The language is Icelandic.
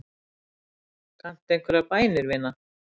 Kanntu einhverjar bænir, vina?